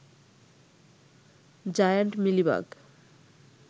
giant mealybug